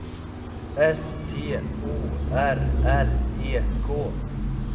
S T O R L E K